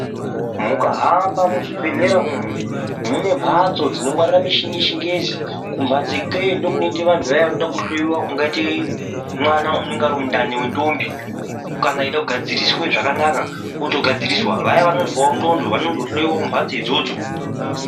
Mukahamba muzvibhedhlera umu munemhatso dzinongwarira michini yechingezi kumhatso ikweyo ndokunoenda vantu vanoda kuhloiwa kungaite mwana unenge ari mundani vendombi. Kana eide kugadziriswe zvakanaka vogadziriswa vaya vanozwavo ndxondo vanozohoiwa mumhatso idzodzo.